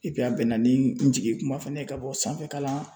a bɛnna ni n jigikuma fana ye ka bɔ sanfɛkalan.